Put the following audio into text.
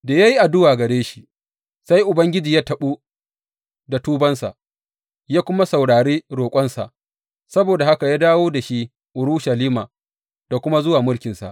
Da ya yi addu’a gare shi, sai Ubangiji ya taɓu da tubansa, ya kuma saurari roƙonsa; saboda haka ya dawo da shi Urushalima da kuma zuwa mulkinsa.